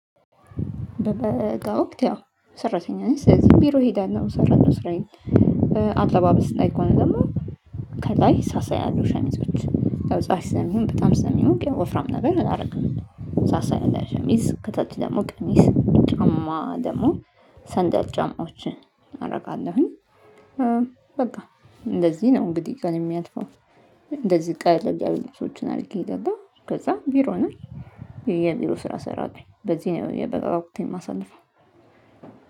በበጋ ወቅት ያው ሰራተኛ ነኝ ስለዚህ ቢሮ እሄዳለሁ እሰራለው ስራዬን አለባበስ ላይ ከሆነ ደግሞ ከላይ ሳሳ ያሉ ሸሚዞች ያው ፀሀይ ስለሚሆን በጣም ስለሚሞቅ ያው ወፍራም ነገር አላደርግም ሳሳ ያለ ሸሚዝ ከታች ደግሞ ቀሚስ ጫማ ደግሞ ሰንደል ጫማዎች አደርጋለሁኝ። በቃ እንደዚህ ነው እንግዲህ ቀኔ የሚያልፈው እንደዚህ ቀለል ያሉ ልብሶችን አድርጌ እሀዳለሁ ከዛ ቢሮ ነኝ የቢሮ ስራ እሰራለሁ በዚህ ነው ወቅቴን የማሳልፈው።